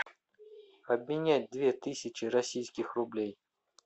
обменять две тысячи российских рублей